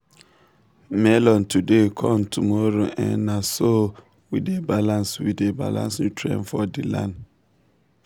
melon today corn tomorrow um na so um we dey balance we dey balance nutrient for the land.